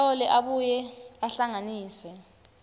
ahlole abuye ahlanganise